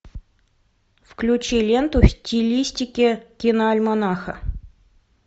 включи ленту в стилистике киноальманаха